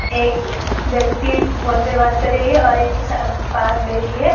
एक व्यक्ति फोन पे बात कर रही है और एक के सा पास बैठी है।